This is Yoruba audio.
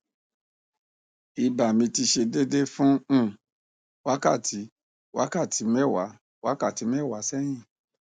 iba mi ti se dede fun um wakati wakati mewa wakati mewa sehin